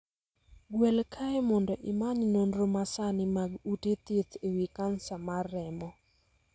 Gwel kae mondo imany nonro masani mag ute thieth e wii kansa mar remo.